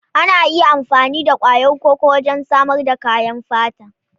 Ana iya amfani da ƙwayar koko wajen samar da kayan fata.